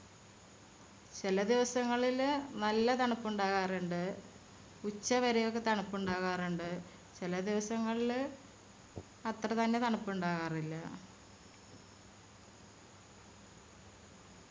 ചെല ദിവസങ്ങളില് നല്ല തണുപ്പുണ്ടാകാറിണ്ട്. ഉച്ചവരെ ഒക്കെ തണുപ്പുണ്ടാകാറുണ്ട്. ചെല ദിവസങ്ങളില് അത്രതന്നെ തണുപ്പിണ്ടാകാറില്ല.